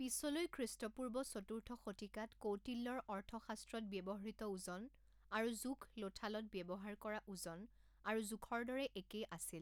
পিছলৈ খ্ৰীষ্টপূৰ্ব চতুৰ্থ শতিকাত কৌটিল্যৰ অৰ্থশাস্ত্ৰত ব্যৱহৃত ওজন আৰু জোখ লোথালত ব্যৱহাৰ কৰা ওজন আৰু জোখৰ দৰে একেই আছিল।